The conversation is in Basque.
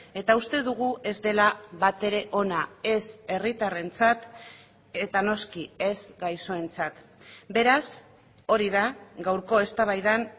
eta uste dugu ez dela batere ona ez herritarrentzat eta noski ez gaixoentzat beraz hori da gaurko eztabaidan